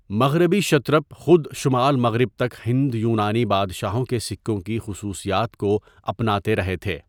مغربی شترپ خود شمال مغرب تک ہند یونانی بادشاہوں کے سکوں کی خصوصیات کو اپناتے رہے تھے۔